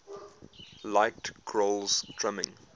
liked grohl's drumming